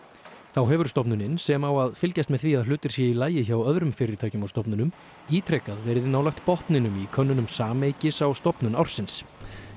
þá hefur stofnunin sem á að fylgjast með því að hlutir séu í lagi hjá öðrum fyrirtækjum og stofnunum ítrekað verið nálægt botninum í könnunum á stofnun ársins